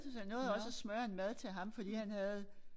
Så jeg nåede også at smøre en mad til ham fordi han havde